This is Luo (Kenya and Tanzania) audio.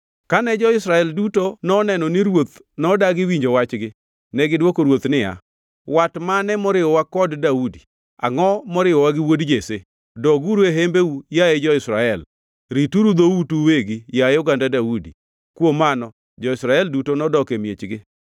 Kane jo-Israel duto noneno ni ruoth nodagi winjo wachgi, negidwoko ruoth niya, “Wat mane moriwowa kod Daudi, angʼo moriwowa gi wuod Jesse? Doguru e hembeu, yaye jo-Israel! Rituru dhoutu uwegi, yaye oganda Daudi!” Kuom mano jo-Israel duto nodok e miechgi.